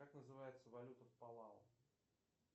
как называется валюта в палау